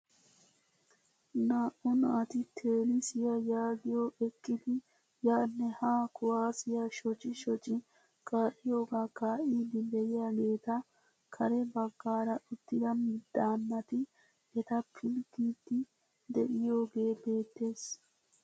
Naa"u naati teenisiyaa yaagiyoo eqqidi yaanne haa kuwaasiyaa shocci shocci ka'iyoogaa kaa"idi de'iyaageta kare baggaara uttida daanati eta pilggiidi de'iyoogee beettees.